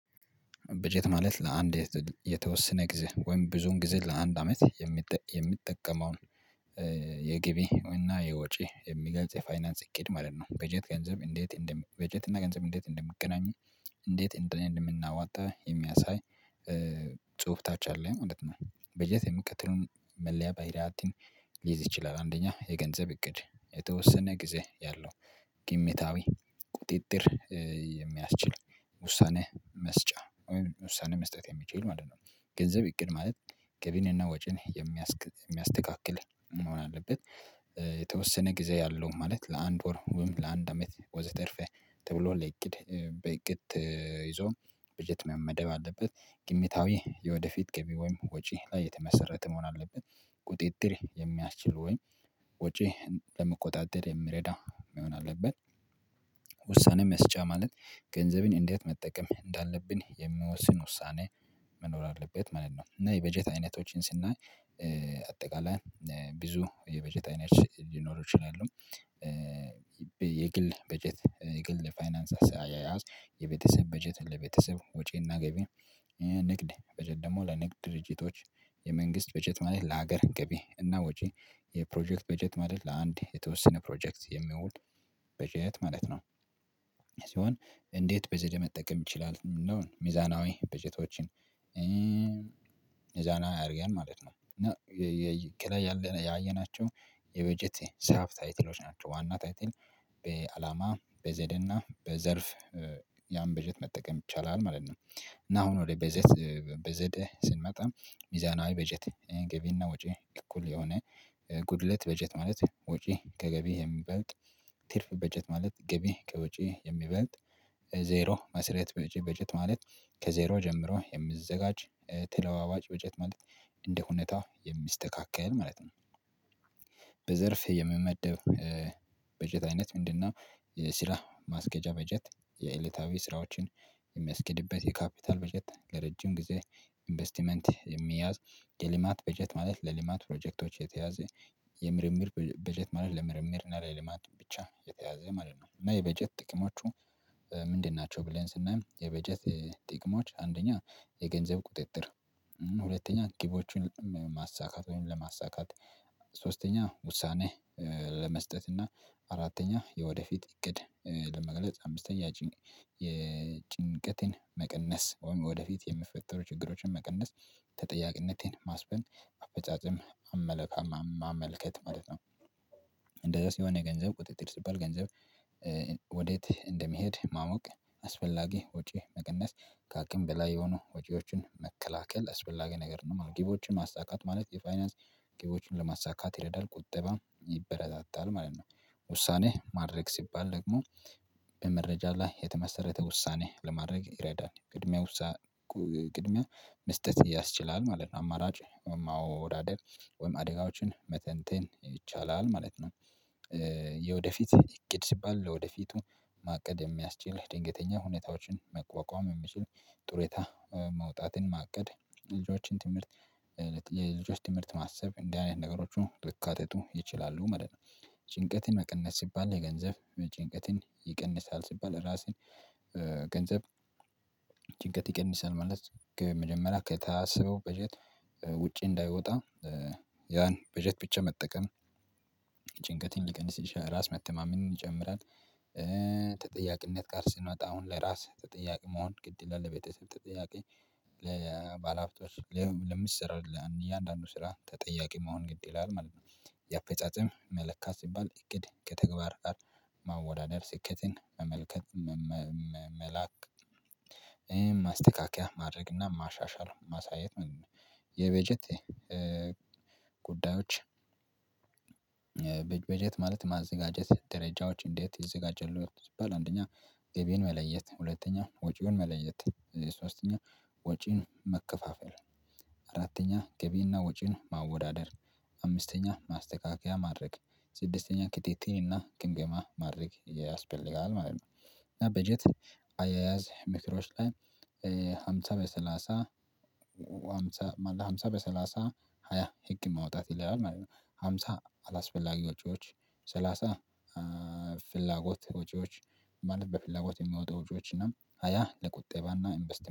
በጀት ማለት ለአንድ የተወሰነ ጊዜ ወይም ብዙን ጊዜ ለአንድ አመት የሚጠቀመው የገቢ እና የወጪ የሚገልጽ የፋይናንስ እቅድ ማለት ነው። በጀት ገንዘብ እንዴት እንደም በጀት እና ገንዘብ እንዴት እንደሚገናኙ እንዴት እንደምናዋጣ የሚያሳይ ጽሁፍ ታች አለ ማለት ነው። በጀት የሚከተለውን መለያ ባህሪያትን ሊይዝ ይችላል። አንደኛ የገንዘብ እቅድ የተወሰነ ጊዜ ያለው ግምታዊ ቁጥጥር የሚያስችል ውሳኔ መስጫ ውሳኔ መስጠት የሚችል ማለት ነው። ገንዘብ እቅድ ማለት ገቢንና ወጪን የሚያስተካክል መሆን አለበት። የተወሰነ ጊዜ ያለው ማለት ለአንድ ወር ወይም ለአንድ አመት ወዘተርፈ ተብሎ ለእቅድ በእቅድ ተይዞ በጀት መመደብ አለበት። ግምታዊ የወደፊት ገቢ ወይም ወጪ ላይ የተመሰረተ መሆን አለበት። ቁጥጥር የሚያስችል ወይም ወጪ ለመቆጣጠር የምረዳው መሆን አለበት። ውሳኔ መስጫ ማለት ገንዘብን እንዴት መጠቀም እንዳለብን የሚወስን ውሳኔ መኖር አለበት ማለት ነው። እና የበጀት አይነቶችን ስናይ አጠቃላይ ብዙ የበጀት አይነት ሊኖሩ ይችላሉ። የግል በጀት የግል ፋይናንስ አያያዝ የቤተሰብ በጀት ለቤተሰብ ወጪና ገቢ ንግድ ብለን ደግሞ ለንግድ ድርጅቶች የ መንግስት በጀት ማለት ለሀገር ገቢ እና ወጪ የፕሮጀክት በጀት ማለት ለአንድ የተወሰነ ፕሮጀክት የሚውል በጀት ማለት ነው። ሲሆን እንዴት በዘዴ መጠቀም እንችላለን? ምንድነው ሚዛናዊ በጀቶችን? ሚዛናዊ አርገን ማለት ነው። እና ከላይ ያለ ያየናቸው የበጀት ሳብታይትሎች ናቸው ዋና ታይትል በአላማ በዘዴና በዘርፍ ያን በጀት መጠቀም ይቻላል ማለት ነው። እና አሁን ወደ በጀት በዘዴ ስንመጣ ሚዛናዊ በጀት ገቢና ወጪ እኩል የሆነ ጉድለት በጀት ማለት ወጪ ከገቢ የሚበልጥ ትርፍ በጀት ማለት ገቢ ከውጪ የሚበልጥ ዜሮ መስረት በጀት ማለት ከዜሮ ጀምሮ የሚዘጋጅ ተለዋዋጭ በጀት ማለት እንደሁኔታ የሚስተካከል ማለት ነው። የሚመደብ በጀት አይነት ምንድነው? ስራ ማስኬጃ በጀት የእለታዊ ስራዎችን የሚያስኬድበት የካፒታል በጀት ለረጅም ጊዜ ኢንቨስትመንት የሚያዝ የልማት በጀት ማለት ለልማት ፕሮጀክቶች የተያዘ የምርምር በጀት ማለት ለምርምር እና ለልማት ብቻ የተያዘ ማለት ነው። እና የበጀት ጥቅሞቹ ምንድን ናቸው? ብለን ስናይ የበጀት ጥቅሞች አንደኛ የገንዘብ ቁጥጥር ሁለተኛ ግቦችን ማሳካት ወይም ለማሳካት ሶስተኛ ውሳኔ ለመስጠት እና አራተኛ የወደፊት እቅድ ለመግለጽ አምስተኛ የጭንቀቴን መቀነስ ወይም ወደፊት የሚፈጠሩ ችግሮችን መቀነስ ተጠያቅነቴን ማስፈን አፈጻጽም አመለካም ማመልከት ማለት ነው። እንደዛ ሲሆነ ገንዘብ ቁጥጥር ሲባል ገንዘብ ወዴት እንደሚሄድ ማወቅ አስፈላጊ ወጪ መቀነስ ከአቅም በላይ የሆኑ ወጪዎችን መከላከል አስፈላጊ ነገር ነው። ግቦችን ማሳካት ማለት የፋይናንስ ግቦችን ለማሳካት ይረዳል ቁጥባ ይበረታታል ማለት ነው። ውሳኔ ማድረግ ሲባል ደግሞ በመረጃ ላይ የተመሰረተ ውሳኔ ለማድረግ ይረዳል ቅድሚያ ውሳኔ ቅድሚያ መስጠት ያስችላል ማለት ነው። አማራጭ ወይም ማወዳደር ወይም አደጋዎችን መተንተን ይቻላል ማለት ነው። የወደፊት እቅድ ሲባል ለወደፊቱ ማቀድ የሚያስችል ድንገተኛ ሁኔታዎችን መቋቋም የሚችል ጥሩ የታ መውጣትን ማቀድ ልጆችን ትምህርት የልጆች ትምህርት ማሰብ እንዲህ አይነት ነገሮች ሊካተቱ ይችላሉ ማለት ነው። ጭንቀትን መቀነስ ሲባል የገንዘብ ጭንቀትን ይቀንሳል ሲባል ራስን ገንዘብ ጭንቀት ይቀንሳል ማለት ግብ መጀመሪያ ከታሰበው በጀት ውጪ እንዳይወጣ ያን በጀት ብቻ መጠቀም ጭንቀትን ሊቀንስ ይችላል ራስ መተማመን ይጨምራል። ተጠያቂነት ጋር ስንመጣ አሁን ለራስ ተጠያቂ መሆን ግድ ይላል ለቤተሰብ ተጠያቂ ለባለሀብቶች ለምትሰራው ለእያንዳንዱ ስራ ተጠያቂ መሆን ግድ ይላል ማለት ነው። የአፈጻጸም መለካት ሲባል እቅድ ከተግባር ጋር ማወዳደር ስኬትን መመልከት መላክ ማስተካከያ ማድረግ እና ማሻሻል ማሳየት ምንድነው? የበጀት ጉዳዮች? በጀት ማለት ማዘጋጀት ደረጃዎች እንዴት ይዘጋጃሉ? ሲባል አንደኛ ገቢን መለየት ሁለተኛ ወጪውን መለየት ሶስተኛ ወጪን መከፋፈል አራተኛ ገቢና ወጪን ማወዳደር አምስተኛ ማስተካከያ ማድረግ ስድስተኛ ክትትል እና ግምገማ ማድረግ ያስፈልጋል ማለት ነው። በጀት አያያዝ ምክሮች ላይ ሃምሳ በሰላሳ ሃምሳ በሰላሳ ሃያ ህግ ማውጣት ይላል ማለት ነው። ሃምሳ አላስፈላጊ ወጪዎች ሰላሳ ፍላጎት ወጪዎች ማለት በፍላጎት የሚወጡ ወጪዎች እና ሃያ ለቁጠባ እና ኢንቨስት